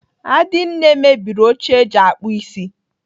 Adinne mebiri oche eji akpụ isi.